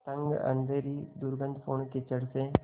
तंग अँधेरी दुर्गन्धपूर्ण कीचड़ से